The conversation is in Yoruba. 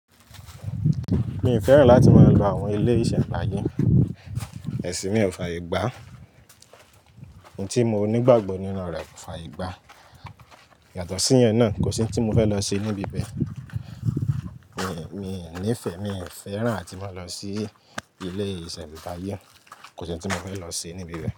Mi n fẹ́ràn láti máa lọ bá àwọn ilé iṣẹ́mbayẹ̀ ẹ̀sìn mi ò fàaye gbà. Ntí mo nígbàgbọ́ nínú rẹ̀ kò fàaye gbà. Yàtọ̀ sí ìyẹn náà, kò sí ohun tí mo fẹ́ lọ ṣe níbi bẹ́ẹ̀. Mi, mi ò níìfẹ̀, mii fẹ́ràn ati máa lọ sí ilé iṣẹ́mbàyẹ̀. Kò sí n tí mo fẹ́ lọ ṣe níbi bẹ́ẹ̀